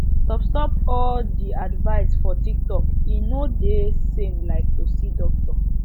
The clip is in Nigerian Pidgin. stopstop all de advice for tiktok e no de same like to see doctor